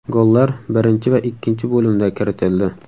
Gollar birinchi va ikkinchi bo‘limda kiritildi.